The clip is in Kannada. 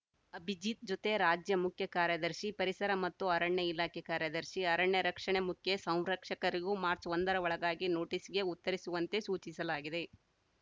ಅಭಿಜಿತ್‌ ಜೊತೆ ರಾಜ್ಯ ಮುಖ್ಯಕಾರ್ಯದರ್ಶಿ ಪರಿಸರ ಮತ್ತು ಅರಣ್ಯ ಇಲಾಖೆ ಕಾರ್ಯದರ್ಶಿ ಅರಣ್ಯ ರಕ್ಷಣೆ ಮುಖ್ಯ ಸಂರಕ್ಷಕರಿಗೂ ಮಾರ್ಚ್ಒಂದರ ಒಳಗಾಗಿ ನೋಟಿಸ್‌ಗೆ ಉತ್ತರಿಸುವಂತೆ ಸೂಚಿಸಲಾಗಿದೆ